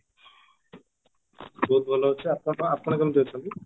ବହୁତ ଭଲ ଅଛି ଆପଣ ଆପଣ କେମିତି ଅଛନ୍ତି?